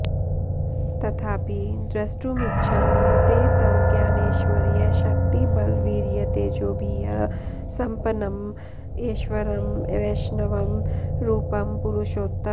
तथापि द्रष्टुमिच्छामि ते तव ज्ञानैश्वर्यशक्तिबलवीर्यतेजोभिः सम्पन्नं ऐश्वरं वैष्णवं रूपं पुरुषोत्तम